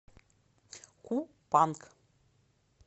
купанг